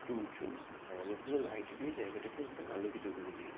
একটু উঁচু আর অনেকগুলো লাইট দিয়ে জায়গাটাকে একদম আলোকিত করে দিয়েছে।